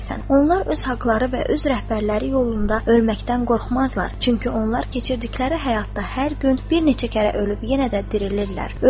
Onlar öz haqları və öz rəhbərləri yolunda ölməkdən qorxmazlar, çünki onlar keçirdikləri həyatda hər gün bir neçə kərə ölüb yenə də dirilirlər.